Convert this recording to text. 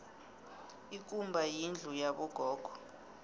ikumba yindlu yabo gogo